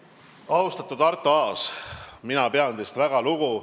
Austatud Arto Aas, mina pean teist väga lugu.